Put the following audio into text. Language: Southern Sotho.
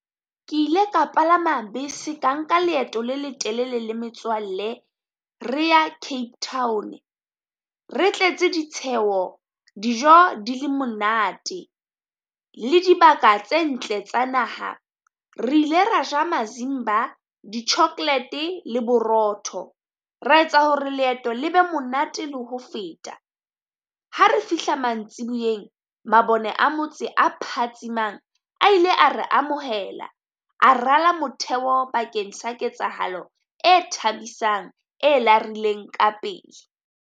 Ke ile ka palama bese ka nka leeto le letelele le metswalle re ya Cape Town, re tletse ditsheho, dijo di le monate le dibaka tse ntle tsa naha. Re ile ra ja mazimba di chocolate le borotho, ra etsa hore leeto le be monate le ho feta. Ha re fihla mantsiboyeng, mabone a motse a phatsimang a ile a re amohela a rala motheo pakeng sa ketsahalo e thabisang e larileng ka pele.